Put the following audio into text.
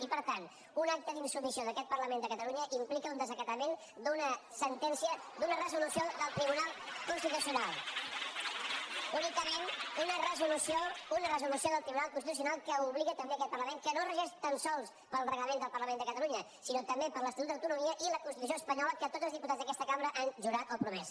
i per tant un acte d’insubmissió d’aquest parlament de catalunya implica un desacatament d’una sentència d’una resolució del tribunal constitucional únicament una resolució del tribunal constitucional que obliga també aquest parlament que no es regeix tan sols pel reglament del parlament de catalunya sinó també per l’estatut d’autonomia i la constitució espanyola que tots els diputats d’aquesta cambra han jurat o promès